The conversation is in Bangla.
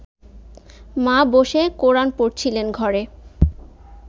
মা বসে কোরান পড়ছিলেন ঘরে